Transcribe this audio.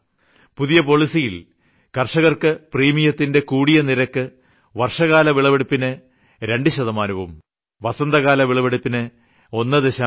പുതിയ പോളിസിയിൽ കർഷകർക്ക് പ്രീമിയത്തിന്റെ കൂടിയ നിരക്ക് വർഷകാല വിളവെടുപ്പിന് 2 ശതമാനവും വസന്തകാല വിളവെടുപ്പിന് 1